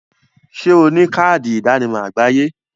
Ṣé o ní káàdì ìdánimọ̀ àgbáyé?